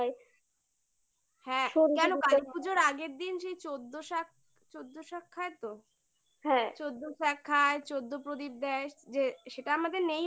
হ্যাঁ কেন কালী পুজোর আগের দিন সেই চোদ্দ শাক খায় তো? হ্যাঁ চোদ্দ শাক খায়, চোদ্দ প্রদীপ দেয় যে সেটা আমাদের নেই অবশ্য